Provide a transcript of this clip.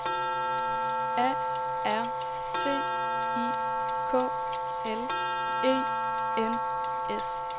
A R T I K L E N S